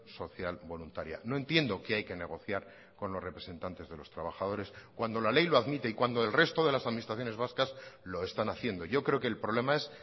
social voluntaria no entiendo qué hay que negociar con los representantes de los trabajadores cuando la ley lo admite y cuando el resto de las administraciones vascas lo están haciendo yo creo que el problema es